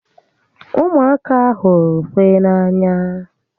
Umuaka huru ukwe n'anya